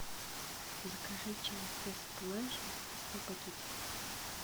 закажи чай тесс плэжа сто пакетиков